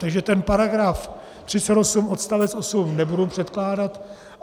Takže ten paragraf 38 odst. 8 nebudu předkládat.